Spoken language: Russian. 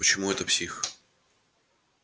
почему это псих